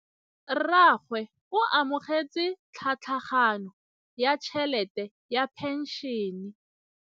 Rragwe o amogetse tlhatlhaganyô ya tšhelête ya phenšene.